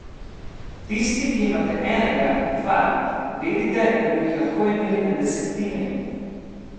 Tisti, ki imate enega, dva, vedite, da bi jih lahko imeli na desetine.